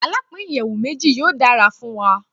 Alapin iyẹwu meji yoo dara fun wa